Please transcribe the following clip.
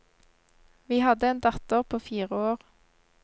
Vi hadde en datter på fire år.